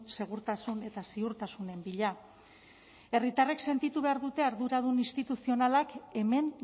segurtasun eta ziurtasunen bila herritarrek sentitu behar dute arduradun instituzionalak hemen